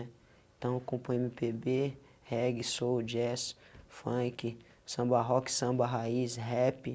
Então, componho eme pê bê, reggae, soul, jazz, funk, samba rock, samba raiz, rap.